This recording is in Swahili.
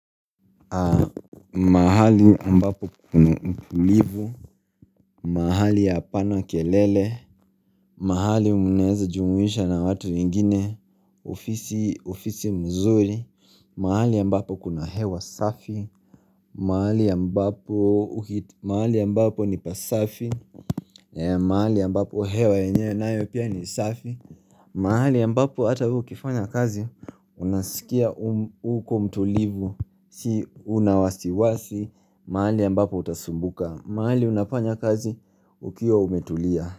Mahali ambapo kuna utulivu mahali ya apana kelele mahali unaweza jumuisha na watu wengine ofisi mzuri mahali ambapo kuna hewa safi mahali ambapo mahali ambapo ni pasafi mahali ambapo hewa yenyewe nayo pia ni safi mahali ambapo hata wewe ukifanyia kazi Unasikia uko mtulivu, si una wasiwasi mahali ambapo utasumbuka, mahali unafanya kazi ukiwa umetulia.